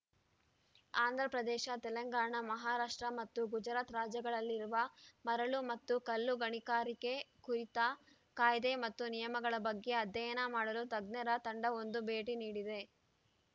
ಆಂಧ್ರಪ್ರದೇಶ ತೆಲಂಗಾಣ ಮಹಾರಾಷ್ಟ್ರ ಮತ್ತು ಗುಜರಾತ್‌ ರಾಜ್ಯಗಳಲ್ಲಿರುವ ಮರಳು ಮತ್ತು ಕಲ್ಲು ಗಣಿಕಾರಿಕೆ ಕುರಿತ ಕಾಯ್ದೆ ಮತ್ತು ನಿಯಮಗಳ ಬಗ್ಗೆ ಅಧ್ಯಯನ ಮಾಡಲು ತಜ್ಞರ ತಂಡವೊಂದು ಭೇಟಿ ನೀಡಿದೆ